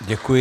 Děkuji.